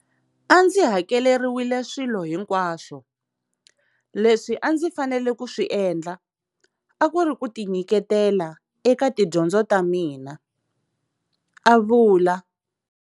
A ndzi hakeleriwile swilo hinkwaswo, leswi a ndzi fanele ku swi endla a ku ri ku tinyiketela eka tidyondzo ta mina, a vula.